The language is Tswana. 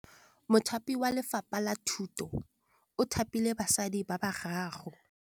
Mothapi wa Lefapha la Thutô o thapile basadi ba ba raro.